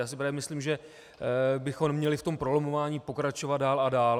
Já si právě myslím, že bychom neměli v tom prolamování pokračovat dál a dál.